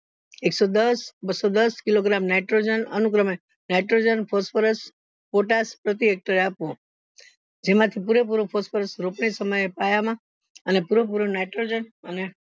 એક્સોદસ બસ્સો દસ kilo nitrogen અનુક્રમે nitrogen phosphurus potas પ્રતિ hector એ આપવું જેમાંથી પૂરે પૂરું phosphurus રોપણી સમયે પાયા માં અને પૂરે પૂરો nitrogen અને